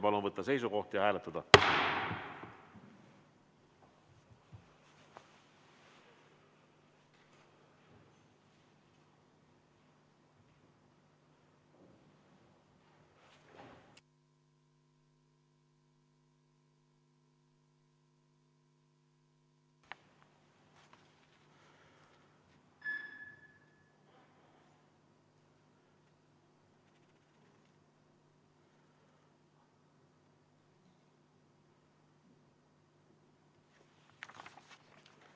Palun võtta seisukoht ja hääletada!